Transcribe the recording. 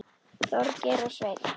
Þorgeir og Sveinn.